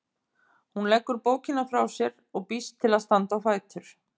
Hún leggur bókina frá sér og býst til að standa á fætur.